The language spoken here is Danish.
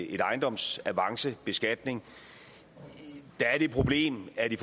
en ejendomsavancebeskatning der er det problem at i